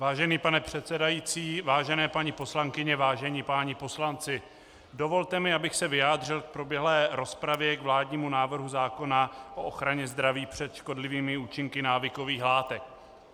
Vážený pane předsedající, vážené paní poslankyně, vážení páni poslanci, dovolte mi, abych se vyjádřil k proběhlé rozpravě k vládnímu návrhu zákona o ochraně zdraví před škodlivými účinky návykových látek.